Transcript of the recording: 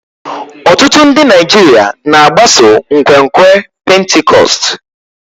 Ọtụtụ ndị Naijiria na-agbaso nkwenkwe Pentikọst.